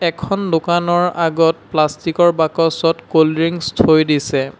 এখন দোকানৰ আগত প্লাষ্টিক ৰ বাকচত কোল্ড ড্ৰিংকছ থৈ দিছে।